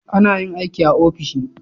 Anayin aiki a ofishi